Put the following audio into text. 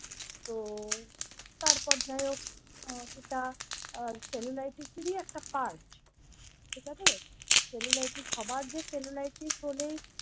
তো তারপর যাই হোক উম সেটা cellulitis ই একটা পার্ট ঠিক আছে cellulitis সবার যে cellulitis হলেই।